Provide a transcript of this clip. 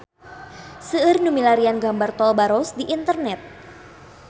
Seueur nu milarian gambar Tol Baros di internet